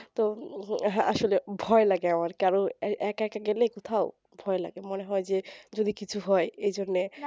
তো আসলে ভয় লাগে আমার কারণ একা একা গেলে কোথাও ভয় লাগে মনে হয় যে যদি কিচ্ছু হয় এই জন্যে